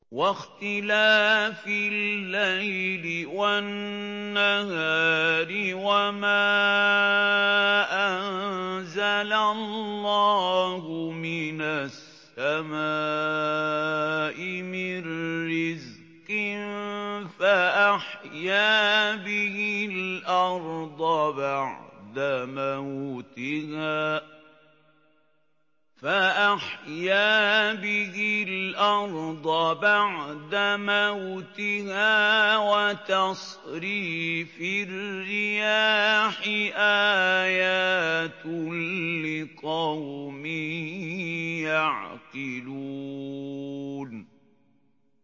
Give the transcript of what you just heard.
وَاخْتِلَافِ اللَّيْلِ وَالنَّهَارِ وَمَا أَنزَلَ اللَّهُ مِنَ السَّمَاءِ مِن رِّزْقٍ فَأَحْيَا بِهِ الْأَرْضَ بَعْدَ مَوْتِهَا وَتَصْرِيفِ الرِّيَاحِ آيَاتٌ لِّقَوْمٍ يَعْقِلُونَ